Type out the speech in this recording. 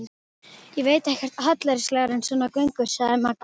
Ég veit ekkert hallærislegra en svona göngur, sagði Magga.